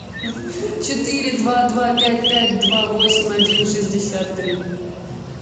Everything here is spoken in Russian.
четыре два два пять пять два восемь один шестьдесят три